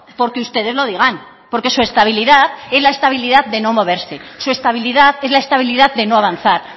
porque ustedes lo digan porque su estabilidad es la estabilidad de no moverse su estabilidad es la estabilidad de no avanzar